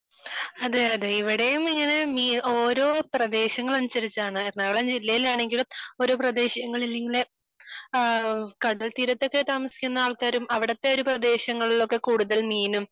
അതെ അതെ ഇവിടെയും ഇങ്ങനെ ഓരോ പ്രദേശങ്ങൾ അനുസരിച്ചാണ് എറണാകുളം ജില്ലയിൽ ആണെങ്കിലും ഓരോ പ്രദേശങ്ങളിൽ കടൽ തീരത്തു താമസിക്കുന്ന ആൾക്കാരും അവിടുത്തെ പ്രദേശങ്ങളിൽ ഒക്കെ കൂടുതൽ മീനും